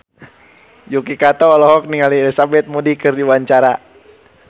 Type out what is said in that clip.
Yuki Kato olohok ningali Elizabeth Moody keur diwawancara